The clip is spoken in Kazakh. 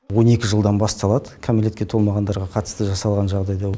он екі жылдан басталады кәмілетке толмағандарға қатысты жасалған жағдайда